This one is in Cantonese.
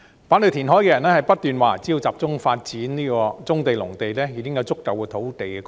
反對填海的人不斷說只要集中發展棕地和農地，已經有足夠土地供應。